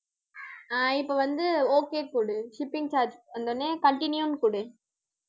ஆஹ் இப்ப வந்து okay போடு shipping charge வந்தவுடனே continue ன்னு குடு